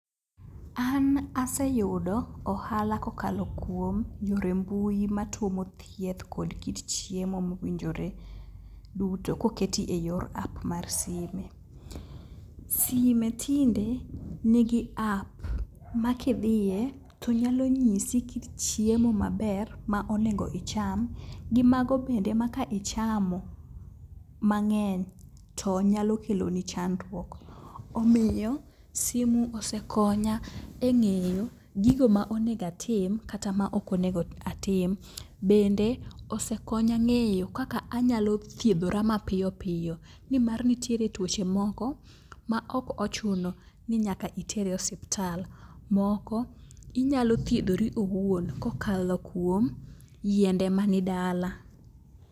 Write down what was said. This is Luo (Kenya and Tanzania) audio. An aseyudo ohala kokalo kuom yore mbui matuomo thieth kod kit chiemo mowinjore duto koketi e yor app mar sime. Sime tinde nigi app ma kidhie to nyalo nyisi kit chiemo maber ma onego icham gi mago bende ma ka ichamo mang'eny to nyalo keloni chandruok, omiyo simu osekonya e ng'eyo gigo ma onego atim kata maok onego atim. Bende osekonya ng'eyo kaka anyalo thiedhora mapiyo piyo nimar nitiere tuoche moko maok ochuno ni nyaka iter e osiptal. Moko inyalo thiedhori owuon kokalo kuom yiende mani dala.